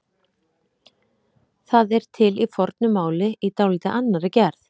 Það er til í fornu máli í dálítið annarri gerð.